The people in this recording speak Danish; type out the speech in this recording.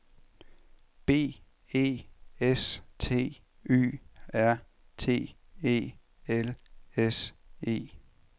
B E S T Y R T E L S E